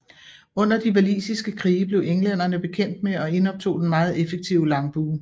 Under de walisiske krige blev englænderne bekendt med og indoptog den meget effektive langbue